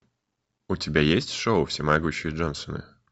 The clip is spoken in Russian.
у тебя есть шоу всемогущие джонсоны